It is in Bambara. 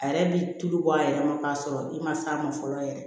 A yɛrɛ bi tulu bɔ a yɛrɛ ma k'a sɔrɔ i ma s'a ma fɔlɔ yɛrɛ